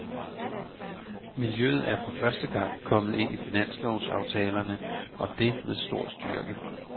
Miljøet er for første gang kommet ind i finanslovsaftalerne, og det med stor styrke.